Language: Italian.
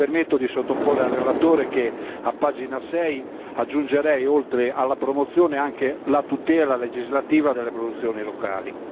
Mi permetto di suggerire al relatore che a pagina6 aggiungerei oltre alla promozione anche la tutela legislativa delle produzioni locali.